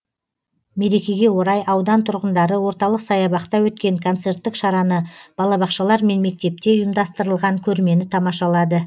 мерекеге орай аудан тұрғындары орталық саябақта өткен концерттік шараны балабақшалар мен мектепте ұйымдастырылған көрмені тамашалады